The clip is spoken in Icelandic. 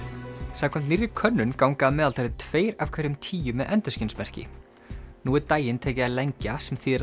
samkvæmt nýrri könnun ganga að meðaltali tveir af hverjum tíu með endurskinsmerki nú er daginn tekið að lengja sem þýðir